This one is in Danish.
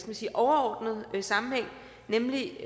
man sige overordnet sammenhæng nemlig